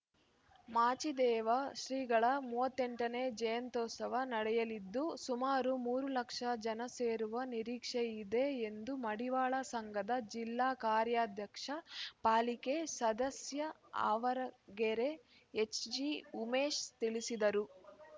ಮಾಚಿದೇವ ಶ್ರೀಗಳ ಮೂವತ್ತೆಂಟ ನೇ ಜಯಂತ್ಯುತ್ಸವ ನಡೆಯಲಿದ್ದು ಸುಮಾರು ಮೂರು ಲಕ್ಷ ಜನ ಸೇರುವ ನಿರೀಕ್ಷೆ ಇದೆ ಎಂದು ಮಡಿವಾಳ ಸಂಘದ ಜಿಲ್ಲಾ ಕಾರ್ಯಾಧ್ಯಕ್ಷ ಪಾಲಿಕೆ ಸದಸ್ಯ ಆವರಗೆರೆ ಎಚ್‌ಜಿಉಮೇಶ್‌ ತಿಳಿಸಿದರು